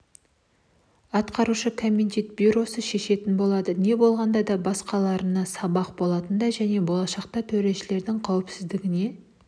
атқарушы комитет бюросы шешетін болады не болғанда да басқаларына сабақ болатындай және болашақта төрешілердің қауіпсіздігіне